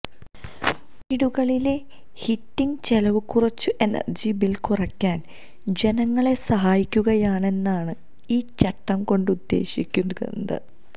വീടുകളിലെ ഹീറ്റിങ് ചെലവ് കുറച്ച് എനര്ജി ബില് കുറയ്ക്കാന് ജനങ്ങളെ സഹായിക്കുകയെന്നതാണ് ഈ ചട്ടം കൊണ്ട് ഉദ്ദേശികക്കുന്നത്